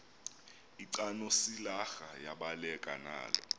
lcanosilarha yabaleka nalo